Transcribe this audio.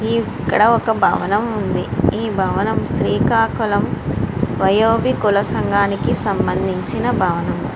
ఇక్కడ ఒక భవనం ఉంది ఈ భవనం శ్రీకాకుళం వయోగి కుల సంఘానికి సంబంధించిన భవనం.